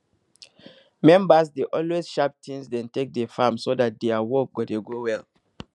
members dey always sharp tins dem take dey farm so dat dia work go dey go well